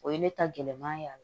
O ye ne ta gɛlɛma y'a la